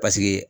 Paseke